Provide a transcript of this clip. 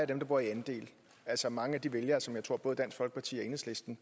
dem der bor i andel altså mange af de vælgere som jeg tror både dansk folkeparti og enhedslisten